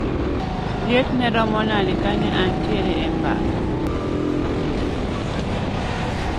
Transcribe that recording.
Liet ne romo nade ka ne antiere e pap